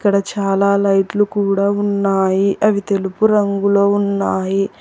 ఇక్కడ చాలా లైట్లు కూడా ఉన్నాయి అవి తెలుపు రంగులో ఉన్నాయి.